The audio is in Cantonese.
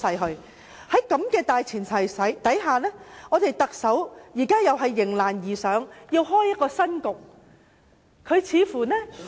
在這個大前提下，特首再次迎難而上，開創一個新局面。